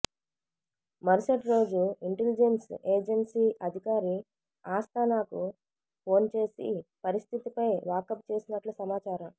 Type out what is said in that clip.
మరుసటిరోజు intelligence agency అధికారి ఆస్తానాకు ఫోన్చేసి పరిస్థితిపై వాకబుచేసినట్లు సమాచారం